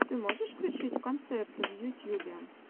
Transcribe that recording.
ты можешь включить концерты в ютьюбе